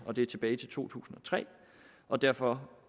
og det er tilbage til to tusind og tre og derfor